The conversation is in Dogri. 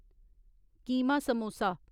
कीमा समोसा